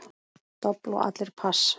Dobl og allir pass.